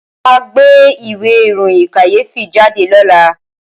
Wọ́n máa gbé ìwé ìròyìn kàyéfì jáde lọ́la